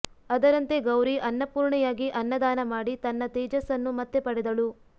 ಅದರಂತೆ ಗೌರಿ ಅನ್ನಪೂರ್ಣೆಯಾಗಿ ಅನ್ನದಾನ ಮಾಡಿ ತನ್ನ ತೆಜಸ್ಸನ್ನು ಮತ್ತೆ ಪಡೆದಳು